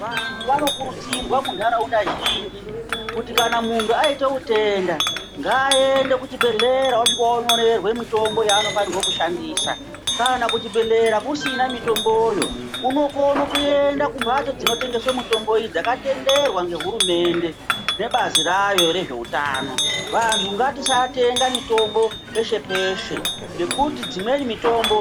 Vantu vanokurudzirwa muntaraunda zhinji kuti kana muntu aite utenda, ngaaende kichibhedhlera osvika onyorerwe mwitombo yaanofanirwo kushandisa. Kana kuchibhedhlera kusina mitomboyo, unokono kuendo kumbatso dzinotengese mitombo dzakatenderwa ngehurumende nebazi rayo rezveutano. Vantu ngatisatenga mitombo peshe-peshe, nekuti dzimweni mitombk